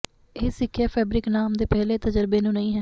ਇਹ ਸਿੱਖਿਆ ਫੈਬਰਿਕ ਨਾਮ ਦੇ ਪਹਿਲੇ ਤਜਰਬੇ ਨੂੰ ਨਹੀ ਹੈ